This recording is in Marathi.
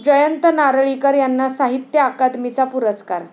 जयंत नारळीकर यांना साहित्य अकादमीचा पुरस्कार